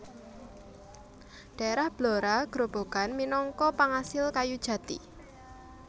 Daerah Blora Grobogan minangka pangasil kayu jati